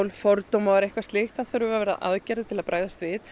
fordómar eitthvað slíkt þá þurfa að vera aðgerðir til að bregðast við